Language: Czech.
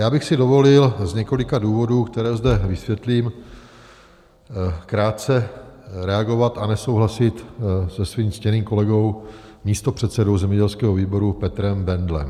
Já bych si dovolil z několika důvodů, které zde vysvětlím, krátce reagovat a nesouhlasit se svým ctěným kolegou, místopředsedou zemědělského výboru Petrem Bendlem.